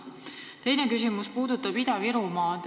Teine küsimus puudutab Ida-Virumaad.